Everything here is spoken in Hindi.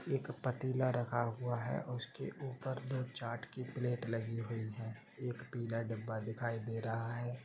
एक पतीला रखा हुआ है उसके ऊपर दो चाट की प्लेट लगी हुई है एक पिला डब्बा दिखाई दे रहा है।